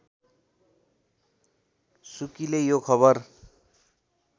सुकीले यो खबर